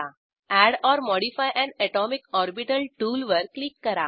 add or modify an atomic orbital टूलवर क्लिक करा